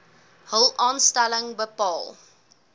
hul aanstelling bepaal